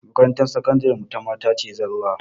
Makarantar sakandiren mu ta mata ce zallah